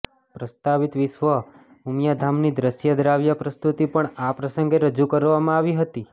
પ્રસ્તાવિત વિશ્વ ઉમિયાધામની દ્રશ્ય દ્રાવ્ય પ્રસ્તુતિ પણ આ પ્રસંગે રજૂ કરવામાં આવી હતી